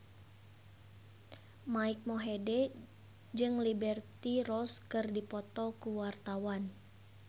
Mike Mohede jeung Liberty Ross keur dipoto ku wartawan